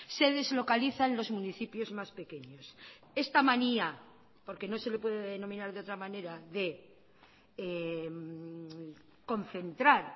se deslocalizan los municipios más pequeños esta manía porque no se le puede denominar de otra manera de concentrar